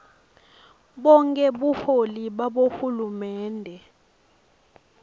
bonkhe buholi babohulumende